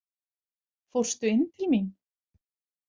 Fórstu inn til mín?